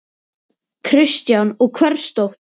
Kristján: Og hvers dóttir?